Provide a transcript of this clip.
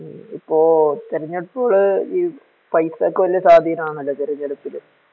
ഇപ്പോ തെരഞ്ഞെടുപ്പുകള് പൈസക്ക് വലിയ സ്വാധീനമാണല്ലേ തെരഞ്ഞെടുപ്പില്